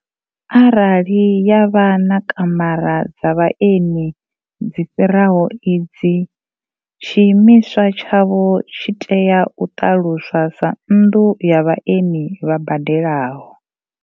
Arali ya vha na kamara dza vhaeni dzi fhiraho idzi, tshiimiswa tshavho tshi tea u ṱaluswa sa nnḓu ya vhaeni vha badelaho.